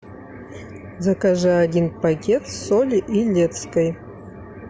закажи один пакет соли илецкой